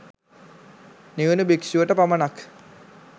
නිවුණු භික්ෂුවට පමණක්